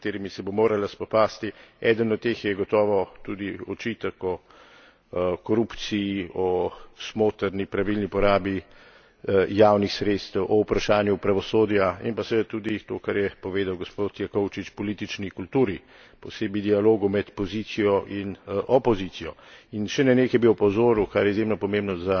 Eden od teh je gotovo tudi očitek o korupciji, o smotrni, pravilni porabi javnih sredstev, o vprašanju pravosodja in pa seveda tudi to, kar je povedal gospod Jakovčić, politični kulturi, posebej dialogu med pozicijo in opozicijo. In še na nekaj bi opozoril, kar je izjemno pomembno za napredek Albanije in njen